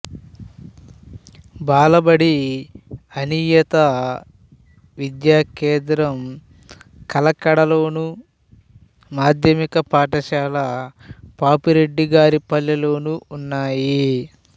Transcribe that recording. బాలబడి అనియత విద్యా కేంద్రం కలకడ లోను మాధ్యమిక పాఠశాల పాపిరెడ్డిగారిపల్లె లోనూ ఉన్నాయి